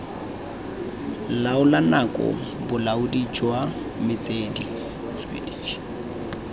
laola nako bolaodi jwa metswedi